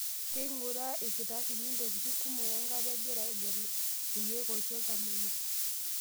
Keinguraa ilkitarrini ntokitin kumok enkata egira aagelu ilkeek oisho iltamoyia.